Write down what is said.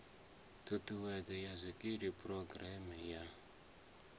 thikhedzo ya zwikili phurogireme ya